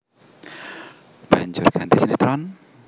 Banjur ganti sinétron